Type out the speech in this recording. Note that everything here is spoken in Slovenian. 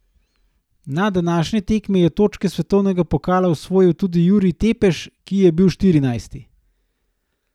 Na današnji tekmi je točke svetovnega pokala osvojil tudi Jurij Tepeš, ki je bil štirinajsti.